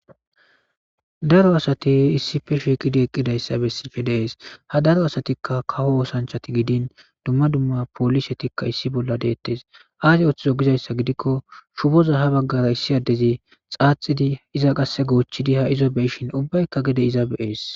daro asati issife shiiqidi eqqidayssa bessishshe dee'es ha daro asatikka kawo oosanchati gidin dumma dumma poolisetikka issi bolla deettes aasi oththizo gizayssa gidikko shuboza ha baggara issi addezi xaaxidi iza qasse goochchidi ha izo be'ishin ubbaykka gede iza bee'es